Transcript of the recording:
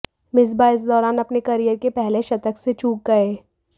मिस्बाह इस दौरान अपने करियर के पहले शतक से चूक गए